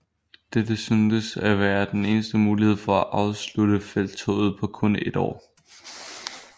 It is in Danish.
Dette syntes at være den eneste mulighed for at afslutte felttoget på kun et år